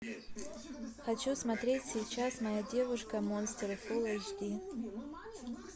хочу смотреть сейчас моя девушка монстр фулл эйч ди